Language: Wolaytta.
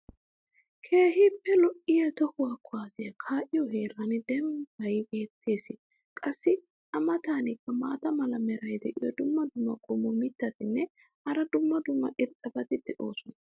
keehi lo'iya tohuwa kuwaassiya kaa'iyo heeran dembbay beetees. qassi a matankka maata mala meray diyo dumma dumma qommo mitattinne hara dumma dumma irxxabati de'oosona.